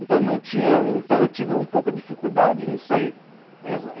Então não tinha então eu tive um pouco de dificuldade nisso aí.